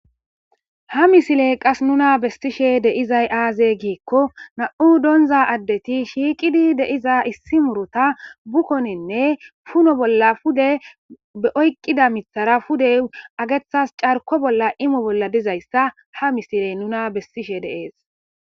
Hamisiley qas nuna bestishe deizay aaze giikko na'u doonza addeti shiiqidi deiza issi murota bukkoninne puno bolla pude beoyqqida mithara pudey agethas carko bolla imo bolla dizayssa hamisiley nuna bestishe deees.